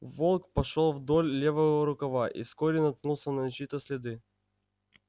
волк пошёл вдоль левого рукава и вскоре наткнулся на чьи то следы